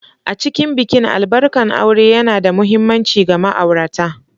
A cikin bikin albarkan aure yana da mahimmanci ga ma'aurata.